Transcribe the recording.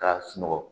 K'a sunɔgɔ